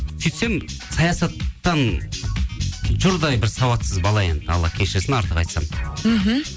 сөйтсем саясаттан жұрдай бір сауатсыз бала енді алла кешірсін артық айтсам мхм